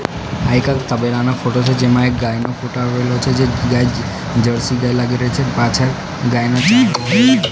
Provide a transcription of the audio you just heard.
તબેલાનો photo છે જેમા એક ગાયનો ફોટો આવેલો છે જે ગાય લાગી રહી છે પાછળ ગાયના--